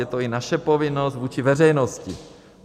Je to i naše povinnost vůči veřejnosti.